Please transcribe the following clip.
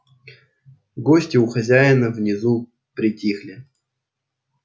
гости и хозяева внизу притихли